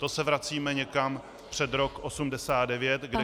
To se vracíme někam před rok 1989, kdy každá -